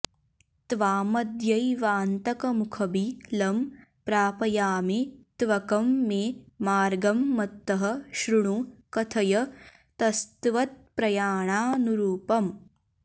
त्वामद्यैवान्तकमुखबिलं प्रापयामि त्वकं मे मार्गं मत्तः श्रुणु कथयतस्त्वत्प्रयाणानुरूपम्